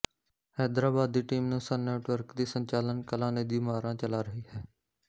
ਹੈਦਰਾਬਾਦ ਦੀ ਟੀਮ ਨੂੰ Sun Network ਦੀ ਸੰਚਾਲਕ ਕਲਾਨਿਧੀ ਮਾਰਾਂ ਚਲਾ ਰਹੀ ਹੈ